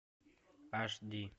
аш ди